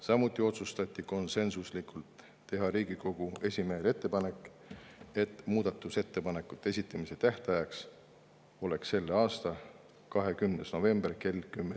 Samuti otsustati konsensuslikult teha Riigikogu esimehele ettepanek, et muudatusettepanekute esitamise tähtaeg oleks selle aasta 20. november kell 10.